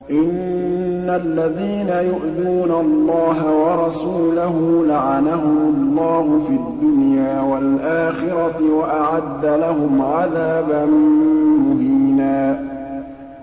إِنَّ الَّذِينَ يُؤْذُونَ اللَّهَ وَرَسُولَهُ لَعَنَهُمُ اللَّهُ فِي الدُّنْيَا وَالْآخِرَةِ وَأَعَدَّ لَهُمْ عَذَابًا مُّهِينًا